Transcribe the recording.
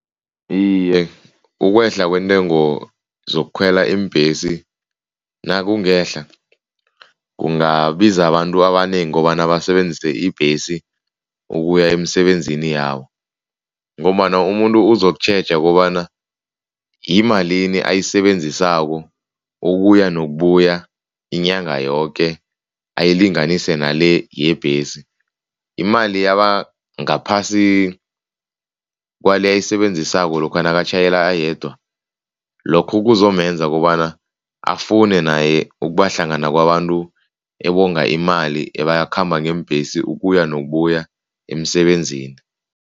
Iye, ukwehla kweentengo zokukhwela iimbhesi, nakungehla kungabiza abantu abanengi kobana basebenzise ibhesi ukuya emisebenzini yabo ngombana umuntu uzokutjheja kobana yimalini ayisebenzisako ukuya nokubuya inyanga yoke, ayilinganise nale yebhesi. Imali yaba ngaphasi kwale ayisebenzisako lokha nakatjhayela ayedwa, lokho kuzomenza kobana afune naye ukubahlangana kwabantu ebonga imali ebakhamba ngeembhesi ukuya nokubuya emsebenzini.